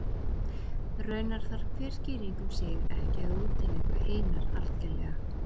Raunar þarf hver skýring um sig ekki að útiloka hinar algerlega.